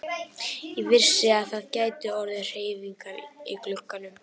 Ég vissi að það gætu orðið hreyfingar í glugganum.